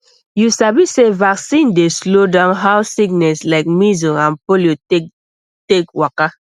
you sabi sey vaccine dey slow down how sickness like measles and polio take take waka